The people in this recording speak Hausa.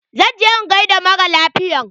Zan je in gaida maralafiyan.